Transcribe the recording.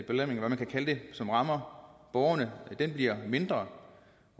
eller hvad man kan kalde det som rammer borgerne bliver mindre